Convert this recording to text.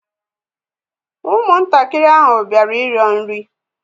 Ụmụntakịrị ahụ bịara ịrịọ nri